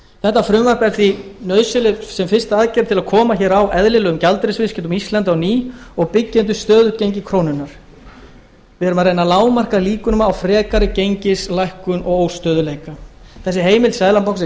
þetta frumvarp er því nauðsynlegt sem fyrsta aðgerð til að koma hér á eðlilegum gjaldeyrisviðskiptum á íslandi á ný og byggja undir stöðugt gengi krónunnar við erum að reyna lágmarka líkurnar á frekari gengislækkun og óstöðugleika þessi heimild seðlabankans er